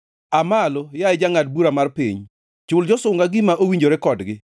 Aa malo, yaye Jangʼad bura mar piny; chul josunga gima owinjore kodgi.